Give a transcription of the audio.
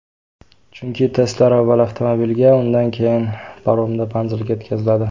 Chunki testlar avval avtomobilga, undan keyin paromda manzilga yetkaziladi.